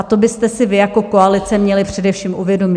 A to byste si vy jako koalice měli především uvědomit.